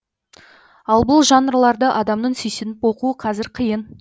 ал бұл жанрларды адамның сүйсініп оқуы қазір қиын